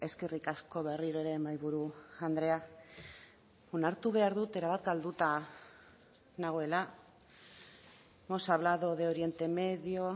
eskerrik asko berriro ere mahaiburu andrea onartu behar dut erabat galduta nagoela hemos hablado de oriente medio